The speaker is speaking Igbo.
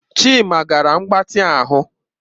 Chima gara mgbatị ahụ